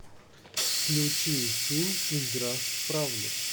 включи фильм игра в правду